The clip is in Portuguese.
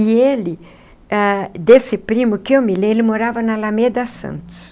E ele, ah desse primo que eu me lembro, ele morava na Alameda Santos.